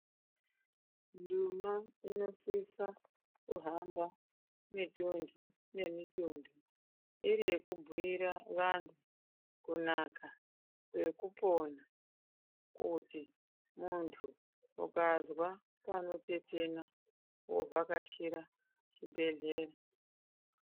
Nduma inosisa kuhamba mitunthu nemitunthu iri yekubhuyira vanthu kunaka nekupona kuti munthu ukazwa panotetena wovhakachira chibhedhlera.